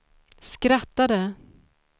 skrattade